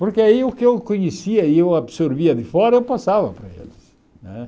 Porque aí o que eu conhecia e eu absorvia de fora, eu passava para eles, né?